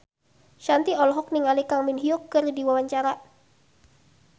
Shanti olohok ningali Kang Min Hyuk keur diwawancara